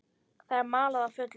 Það er malað á fullu.